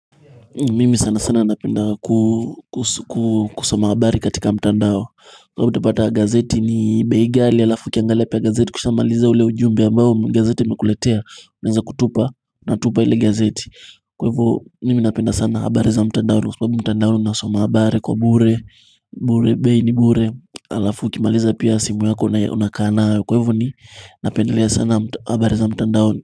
Mimi sana sana napenda kusoma habari katika mtandao Kwa hivyo utapata gazeti ni bei ghali alafu ukiangalia pia ya gazeti ukishamaliza ule ujumbe ambao gazeti imekuletea unaeza kutupa natupa ile gazeti Kwa hivyo mimi napenda sana habari za mtandaoni kwa sababu mtandaoni nasoma habari kwa bure bure bei ni bure alafu ukimaliza pia simu yako na unakaa nayo kwa hivyo ni napendalea sana habari za mtandaoni.